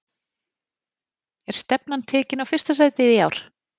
Er stefnan tekin á fyrsta sætið í ár?